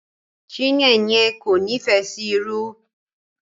Chineyen kò n'ifẹ sí ìrù.